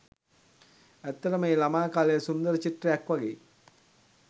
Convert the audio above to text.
ඇත්තටම ඒ ළමා කාලය සුන්දර චිත්‍රයක් වගෙයි.